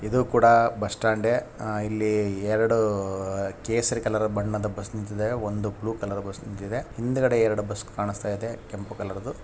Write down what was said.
ಇದು ಕೂಡ bus stand ಆ ಇಲ್ಲಿ ಎರಡು ಕೇಸರಿ ಕಲರ್ ಬಣ್ಣದ ಎರಡು ಬಸ್ ನಿಂತಿದೆ ಒಂದು ಬ್ಲೂ ಕಲರ್ ಬಸ್ ನಿಂತಿದೆ ಹಿಂದುಗಡೆ ಎರಡು ಬಸ್ ಕಾಣಿಸ್ತ ಇದೆ ಕೆಂಪ ಕಲರ್ ದೂ.